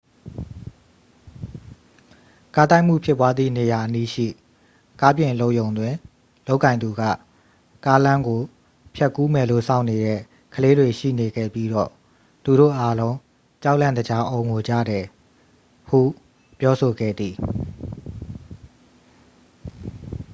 "ကားတိုက်မှုဖြစ်ပွားသည့်နေရာအနီးရှိ ကားပြင်အလုပ်ရုံတွင် လုပ်ကိုင်သူက "ကားလမ်းကို ဖြတ်ကူးမယ်လို့ စောင့်နေတဲ့ ကလေးတွေရှိနေခဲ့ပြီးတော့ သူတို့အားလုံး ကြောက်လန့်တကြား အော်ငိုကြတယ်" ဟု ပြောဆိုခဲ့သည်။